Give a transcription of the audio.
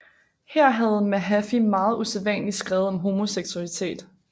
Her havde Mahaffy meget usædvanligt skrevet om homoseksualitet